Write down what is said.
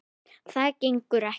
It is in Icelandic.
Það gengur ekki.